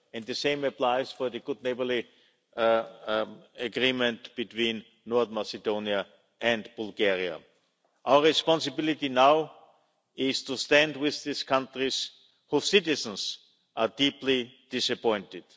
And the same applies for the good neighbourly agreement between North Macedonia and Bulgaria. Our responsibility now is to stand with these countries, whose citizens are deeply disappointed.